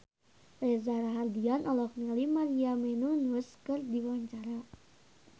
Reza Rahardian olohok ningali Maria Menounos keur diwawancara